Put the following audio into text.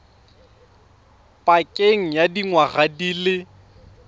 pakeng ya dingwaga di le